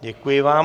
Děkuji vám.